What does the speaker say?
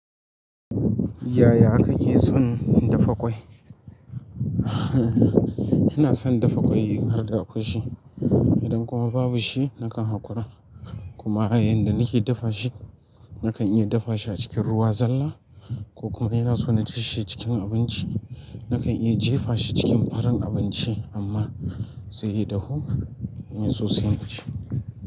Yaya kake son dafa ƙwai? Ina son dafa ƙwai har da kwashe idan kuma babu shi nakan haƙura. Kuma yanda nake dafa shi, nakan dafa shi a cikin ruwa zalla ko kuma in ina so na ci shi cikin abinci nakan iya jefa shi cikin farin abinci amma sai ya dahu in sosai mu ci.